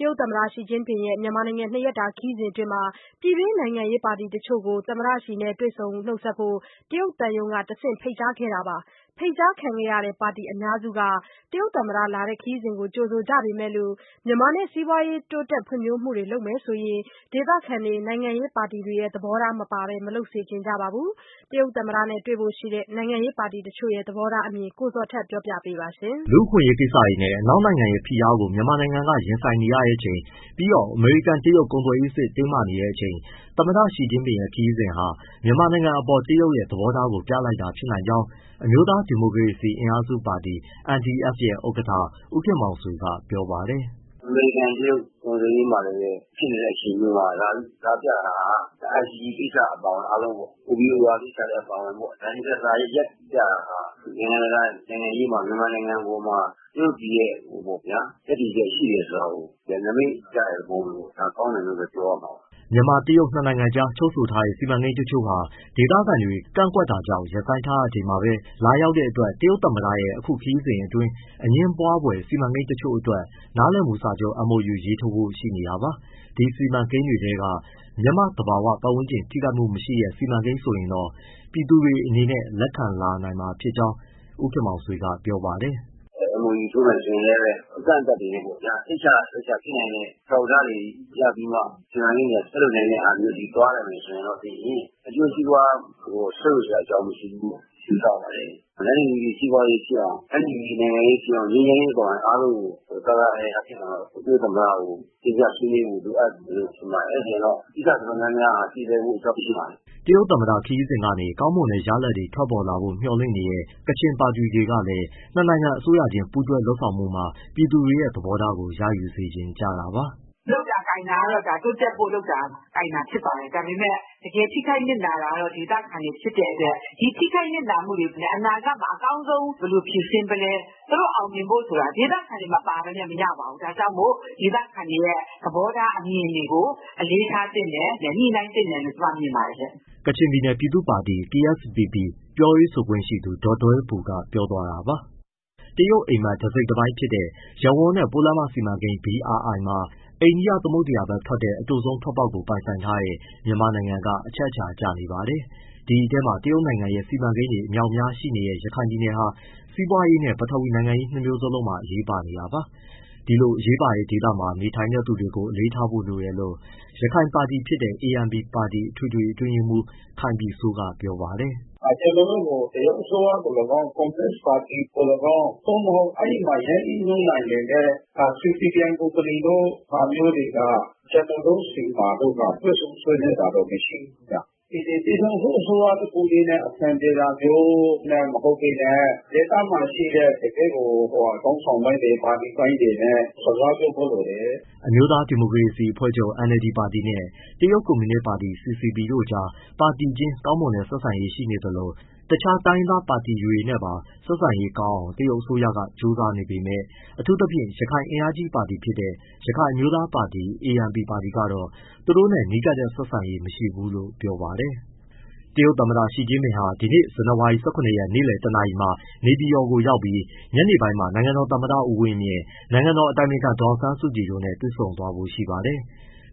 တရုတ်သမ္မတ ရှီကျင့်ပင်ရဲ့မြန်မာနိုင်ငံနှစ်ရက်တာခရီးစဉ်မှာ ပြည်တွင်း နိုင်ငံရေးပါတီတချို့ကို သမ္မတရှီ နဲ့ တွေ့ဆုံဖို့ တရုတ်သံရုံးကတဆင့် ဖိတ်ကြားထားပြီး ပါတီစုစုပေါင်း ၂၀ ဝန်းကျင်လောက် တက်ရောက်ဖို့ရှိပါတယ်။ ဖိတ်ကြားခံရတဲ့ ပါတီအများစုက တရုတ်သမ္မတ အခုလို လာရောက်တဲ့ ခရီးစဉ်ကိုကြိုဆို ကြ ပေမယ့် မြန်မာနဲ့ စီးပွါးရေးတိုးတက် ဖွ့ဖြိုးမှုတွေ လုပ်မယ် ဆိုရင်တော့ ဒေသခံတွေ၊ နိုင်ငံရေးပါတီတွေရဲ့ သဘောထား မပါပဲ မလုပ်စေချင်ကြပါဘူး။ တရုတ် သမ္မတနဲ့ တွေ့ဆုံဖို့ ရှိတဲ့ နိုင်ငံရေးပါတီ တချို့ရဲ့ သဘောထားအမြင်ကို မေးမြန်းပြီး ကိုဇော်ထက်က တင်ပြ ပေးမှာပါ။ လူ့အခွင့်အရေးကိစ္စတွေနဲ့ အနောက်နိုင်ငံရဲ့ ဖိအားကို မြန်မာက ရင်ဆိုင်နေရချိန် ပြီးတော့အမေရိကန်-တရုတ် ကုန်သွယ်ရေးစစ် တင်းမာနေချိန် သမ္မတရှီကျင့်ပင်ရဲ့ ခရီးစဉ်ဟာ မြန်မာနိုင်ငံအပေါ် တရုတ်ရဲ့ သဘောထားကို ပြလိုက်တာဖြစ်နိုင်ကြောင်း အမျိုးသား ဒီမိုကရေစီ အင်အားစုပါတီ NDF ရဲ့ ဥက္ကဋ္ဌ ဦးခင်မောင်ဆွေက ပြောပါတယ်။ " အမေရိကန်-တရုတ် ကုန်သွယ်ရေးမှာလည်းပဲ ဖြစ်နေတဲ့အချိန်မျိုးမှာ လာပြတာဟာ ICJ ကိစ္စအပါအဝင် OBOR ကိစ္စလည်းအပါအဝင် နိုင်ငံတကာမှာ နိုင်ငံတကာနိုင်ငံရေးမှာ မြန်မာနိုင်ငံအပေါ်မှာ တရုတ်ပြည်ရဲ့ ရပ်တည်ချက်ရှိတယ်ဆိုတာကို နမိတ်ပြတဲ့သဘောမျိုးပေါ့။ ဒါကောင်းတယ်လို့ပဲ ပြောရမှာပါ။" မြန်မာ-တရုတ်နှစ်နိုင်ငံကြား ချုပ်ဆိုထားတဲ့ စီမံကိန်းတချို့ဟာ ဒေသခံတွေ ကန့်ကွက်တာကြောင့် ရပ်ဆိုင်းထားရ ချိန်မှာ ပဲ လာရောက်တဲ့ တရုတ်သမ္မတရဲ့ အခု ခရီးစဉ် အတွင်း အငြင်းပွားဖွယ် စီမံကိန်းတချို့အတွက် နားလည်မှုစာချုပ် MoU ရေးထိုးဖို့ရှိနေတာပါ။ ဒီစီမံကိန်းတွေထဲက မြန်မာ့ သဘာဝ ပတ်ဝန်းကျင်ထိခိုက်မှုမရှိတဲ့ စီမံကိန်းဆိုရင်တော့ ပြည်သူတွေအနေနဲ့ လက်ခံ လာနိုင်မှာ ဖြစ်ကြောင်းလည်း ဦးခင်မောင်ဆွေက ပြောပါတယ်။ “ MoU ထိုးမယ် ဆိုရင်လည်းပဲ အကန့်အသတ်တွေနဲ့ပေါ့ဗျာ၊ စိတ်ချလက်ချဖြစ်နိုင်တဲ့ အထောက်အထားတွေရပြီးမှ စီမံကိန်းတွေက ဆက်လုပ်မယ့်ဟာမျိုး သွားမယ်ဆိုရင် အကျိုးစီးပွား ဆုတ်ယုတ်စရာအကြောင်း မရှိဘူးလို့ ယူဆပါတယ်။ တန်းတူညီတူ စီးပွားရေးဖြစ်အောင်၊ တန်းတူ ညီတူ နိုင်ငံရေးဖြစ်အောင် ငြိမ်းချမ်းရေးအပါအဝင် အားလုံးကို သာသာယာယာဖြစ်အောင် တရုတ်သမ္မတကို တင်ပြဖို့လိုအပ်မယ် ထင်ပါတယ်။ အဲဒါဆိုရင် ကိစ္စအတော်များများဟာ ပြေလည်ဖို့ အကြောင်းရှိပါတယ်။” တရုတ်သမ္မတခရီးစဉ်က နေ ကောင်းမွန်တဲ့ရလာဒ်တွေ ထွက်ပေါ်လာဖို့ မျှော်လင့်နေတဲ့ ကချင်ပါတီတွေ ကလည်း ၂ နိုင်ငံ အစိုးရချင်း ပူးတွဲလုပ်ဆောင်မှုတွေမှာ ပြည်သူတွေရဲ့သဘောထားကို ရယူ စေချင် ကြတာပါ။ “ လုပ်တာကိုင်တာကတော့ တိုးတက်ဖို့လုပ်တာဖြစ်ပါတယ်။ ဒါပေမဲ့ တကယ်ထိခိုက်နစ်နာတာက ဒေသခံတွေ ဖြစ်တဲ့အတွက် ဒီထိခိုက်နစ်နာမှုတွေ အနာဂတ်မှာ အကောင်းဆုံး ဘယ်လိုဖြေရှင်းမလဲ သူတို့အောင်မြင်ဖို့ဆိုတာ ဒေသခံတွေ မပါဘဲနဲ့ မရပါဘူး။ ဒါကြောင့်မို့ ဒေသခံတွေရဲ့ သဘောထား မြင်တွေကို အလေးထားသင့်တယ်၊ ညှိနှိုင်းသင့်တယ်လို့ ကျမမြင်ပါတယ်။” ကချင်ပြည်နယ် ပြည်သူ့ပါတီ KSPP ပြောရေးဆိုခွင့်ရှိသူ ဒေါ်ဒွဲဘူက ပြောသွားတာပါ။ တရုတ်အိပ်မက် တစိတ်တပိုင်းဖြစ်တဲ့ ရပ်ဝန်းနဲ့ပိုးလမ်းမစီမံကိန်း BRI မှာ အိန္ဒိယသမုဒ္ဒရာဘက် ထွက်တဲ့ အတိုဆုံး ထွက်ပေါက်ကို ပိုင်ဆိုင်ထားတဲ့ မြန်မာနိုင်ငံက အချက်အချာ ကျ နေပါတယ်။ ဒီအထဲမှာ တရုတ်နိုင်ငံ ရဲ့ စီမံကိန်းတွေ အမြောက်အများရှိနေတဲ့ ရခိုင်ပြည်နယ်ဟာ စီးပွားရေးနဲ့ ပထဝီနိုင်ငံရေး နှစ်မျိုးလုံး အရေးပါနေတာပါ။ ဒီလို အရေးပါတဲ့ ဒေသမှာ နေထိုင်သူတွေ ကို အလေးထားဖို့ လိုတယ်လို့ ရခိုင်ပါတီဖြစ်တဲ့ ANP ပါတီ အထွေထွေအတွင်းရေးမှူး ခိုင်ပြည်စိုးက ပြောပါတယ်။ “ ကျနော်တို့ကို တရုတ်အစိုးရသော်လည်းကောင်း၊ ကွန်မြူနစ်ပါတီပါတီသော်လည်းကောင်း သို့မဟုတ် အဲဒီမှာ ရင်းနှီးမြှုပ်နှံနေတဲ့ CITIC ကုမ္ပဏီဟာမျိုးတွေ ကျနော်တို့ဆီမှာ တွေ့ဆုံဆွေးနွေးတာမရှိဘူး။ ပြည်ထောင်စု အစိုးရတခုတည်းနဲ့ အဆင်ပြေတာမျိုး မဟုတ်ဘဲနဲ့ ဒေသမှာရှိတဲ့ ခေါင်းဆောင်ပိုင်းတွေ၊ ပါတီပိုင်းတွေနဲ့ စကားပြောဖို့လိုတယ်။” အမျိုးသားဒီမိုကရေစီအဖွဲ့ချုပ် NLD ပါတီနဲ့ တရုတ်ကွန်မြူနစ်ပါတီ CCP တို့ကြား ပါတီချင်း ကောင်းမွန်တဲ့ ဆက်ဆံရေး ရှိနေသလို တခြား တိုင်းရင်းသား ပါတီတွေနဲ့ပါ ဆက်ဆံရေး ကောင်းအောင် တရုတ် အစိုးရက ကြိုးစားနေပေမယ့် အထူးသဖြင့် ရခိုင်အင်အားကြီးပါတီဖြစ်တဲ့ ရခိုင်အမျိုးသားပါတီ ANP ပါတီ ကတော့ သူတို့နဲ့ နီးကပ်တဲ့ ဆက်ဆံရေးမရှိဘူးလို့ ပြောပါတယ်။ တရုတ်သမ္မတရှီကျင့်ပင်ဟာ ဒီနေ့ ဇန်နဝါရီ ၁၇ရက် နေ့လည် ၁နာရီမှာ နေပြည်တော်ကိုရောက်ပြီး ညနေပိုင်းမှာ နိုင်ငံတော်သမ္မတဦးဝင်းမြင့် ၊ နိုင်ငံတော်အတိုင်ပင်ခံ ဒေါ်အောင်ဆန်းစုကြည် တို့နဲ့တွေဆုံဖို့ရှိပါတယ်။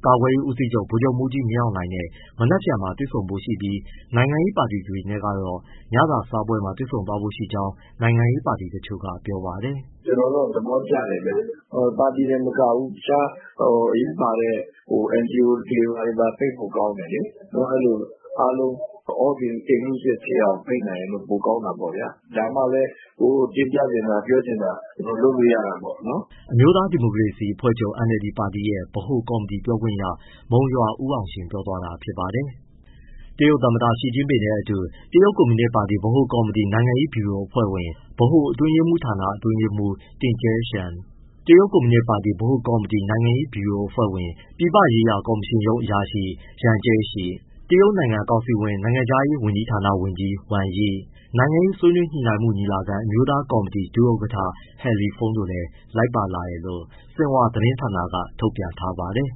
ကာကွယ်ရေးဦးစီးချုပ် ဗိုလ်ချုပ်မှူးကြီးမင်းအောင်လှိုင်နဲ့ မနက်ဖြန်တွေ့ဆုံဖို့ရှိပြီး နိုင်ငံရေးပါတီတွေနဲ့ တော့ ညစာစားပွဲမှာတွေ့ဆုံဖို့ရှိကြောင်း နိုင်ငံရေးပါတီ တချို့ကပြောပါတယ်။ “ ကျနော်တော့ သဘောကျတယ်ဗျ။ ပါတီတင်မကဘူး တခြားအရေးပါတဲ့ NGO တွေပါ ဖိတ်ဖို့ကောင်းတယ်လေ။ နော် အဲဒီလိုအားလုံး all inclusive ဖြစ်အောင် ဖိတ်နိုင်ရင်တော့ ပိုကောင်းတာပေါ့ဗျာ။ ဒါမှလည်း ကိုယ်တင်ပြချင်တာ ပြောချင်တာ လုပ်လို့ရတာပေါ့။” အမျိုးသား ဒီမိုကရေစီအဖွဲ့ချုပ် NLD ပါတီရဲ့ ဗဟိုကော်မတီ ပြောခွင့်ရ မုံရွာဦးအောင်ရှင် ပြောသွားတာ ဖြစ်ပါတယ်။ တရုတ်သမ္မတရှီကျင့်ပင်နဲ့အတူ တရုတ်ကွန်မြူနစ်ပါတီ ဗဟိုကော်မတီ နိုင်ငံရေးဗျူရိုအဖွဲ့ဝင်၊ ဗဟိုအတွင်းရေးမှူးဌာန အတွင်းရေးမှူး Ding Xuexiang, တရုတ်ကွန်မြူနစ်ပါတီ ဗဟိုကော်မတီ နိုင်ငံရေး ဗျူရိုအဖွဲ့ဝင် ပြည်ပရေးရာကော်မရှင်ရုံး အရာရှိ Yang Jiechi ၊ တရုတ်နိုင်ငံကောင်စီဝင် နိုင်ငံခြားရေး ဝန်ကြီးဌာနဝန်ကြီး Wang Yi၊ နိုင်ငံရေး ဆွေးနွေးညှိနှိုင်းမှုညီလာခံ အမျိုးသားကော်မတီဒုဥက္ကဋ္ဌ He Lifeng တို့လည်း လိုက်ပါလာတယ်လို့ ဆင်ဟွာသတင်းဌာနက ထုတ်ပြန်ထားပါတယ်။